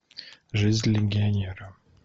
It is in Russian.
жизнь легионера